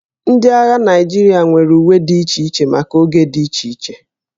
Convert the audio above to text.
Ndị agha Naịjirịa nwere uwe dị iche iche maka oge dị iche iche